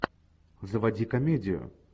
заводи комедию